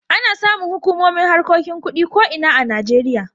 Ana samun hukumomin harkokin kuɗi a ko ina a Najeriya.